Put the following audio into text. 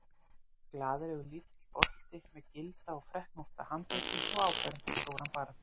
Glaðlegur, lítill bolti með gilda og freknótta handleggi og áberandi stóran barm.